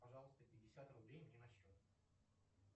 пожалуйста пятьдесят рублей мне на счет